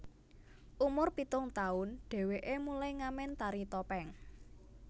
Umur pitung taun dheweke mulai ngamen tari topeng